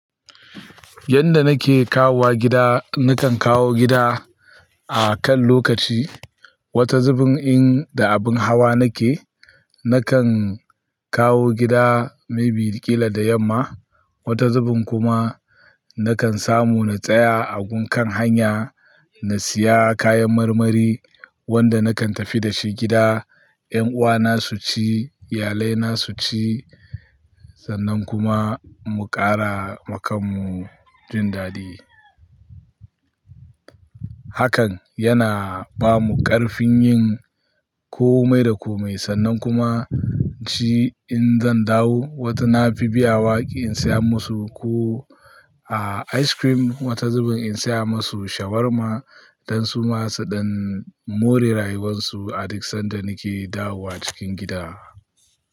Yanda nake kawowa gida, nakan kawo gida a kan lokaci. Wata zubin in da abin hawa nake, nakan kawo gida maybe kila da yamma. Wata zubin kuma nakan samu na tsaya a gun kan hanya na siya kayan marmari wanda nakan tafi dashi gida. 'Yan uwana su ci, iyalai na su ci sannan kuma mu ƙara makan mu jin daɗi. Hakan yana bamu ƙarfin yin komai da komai sannan kuma ci in zan dawo. Wata na fi biya waƙi in siya musu ko a ice cream. Wata zubin in siya musu shawarma don su masu ɗan more rayuwarsu a duk sanda nake dawowa cikin gida.